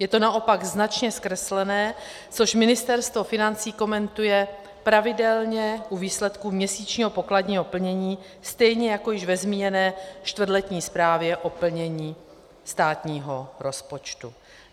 Je to naopak značně zkreslené, což Ministerstvo financí komentuje pravidelně u výsledků měsíčního pokladního plnění stejně jako již ve zmíněné čtvrtletní zprávě o plnění státního rozpočtu.